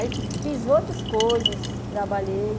Aí fiz outras coisas, trabalhei.